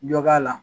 Dɔ k'a la